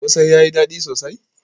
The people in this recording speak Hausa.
Kose yayi dadi sosai?